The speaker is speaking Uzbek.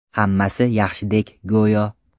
Hammasi yaxshidek go‘yo.